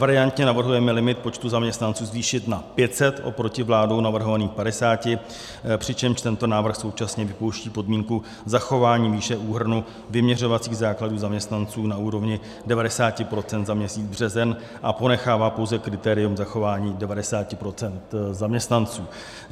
Variantně navrhujeme limit počtu zaměstnanců zvýšit na 500 oproti vládou navrhovaných 50, přičemž tento návrh současně vypouští podmínku zachování výše úhrnu vyměřovacích základů zaměstnanců na úrovni 90 % za měsíc březen a ponechává pouze kritérium zachování 90 % zaměstnanců.